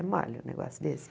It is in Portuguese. É mole o negócio desse.